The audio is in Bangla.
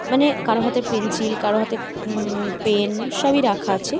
মানে কারো হাতে পেন্সিল কারো হাতে উ-উ পেন সবই রাখা আছে ।